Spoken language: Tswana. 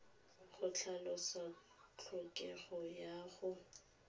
go tlhalosa tlhokego ya go